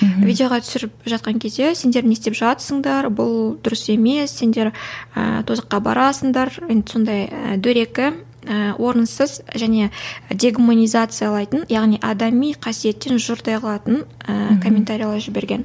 мхм видеоға түсіріп жатқан кезде сендер не істеп жатырсыңдар бұл дұрыс емес сендер ііі тозаққа барасыңдар енді сондай дөрекі ііі орынсыз және дегуманизациялайтын яғни адами қасиеттен жұрдай қылатын ііі комментариялер жіберген